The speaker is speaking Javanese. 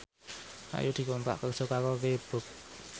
Ayu dikontrak kerja karo Reebook